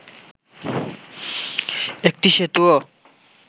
একটি সেতুও